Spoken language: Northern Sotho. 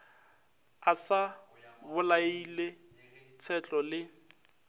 a sa bolaile tshetlo le